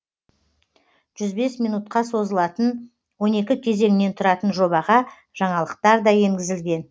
жүз бес минутқа созылатын он екі кезеңнен тұратын жобаға жаңалықтар да енгізілген